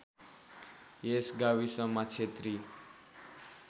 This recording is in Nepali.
यस गाविसमा क्षेत्री